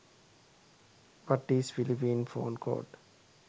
what is phillipene phone code